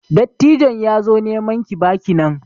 Dattijon ya zo neman ki baki nan.